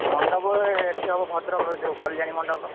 ମଣ୍ଡପ ଏ ଏଠି ହବ ଭଦ୍ରକ ରେ ଯଉ କଲ୍ୟାଣୀ ମଣ୍ଡପ ର।